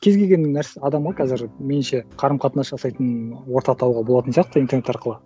кез келген адамға қазір меніңше қарым қатынас жасайтын орта табуға болатын сияқты интернет арқылы